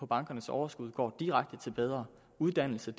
bankernes overskud går direkte til bedre uddannelse